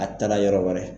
A taara yɔrɔ wɛrɛ